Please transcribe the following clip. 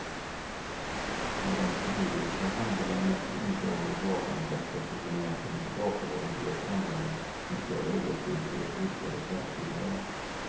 Någon förnyelse handlar det emellertid inte om i valmanifestet utan mest om en tillbakagång till ett samhälle med större orättvisor och vidgade klasskillnader.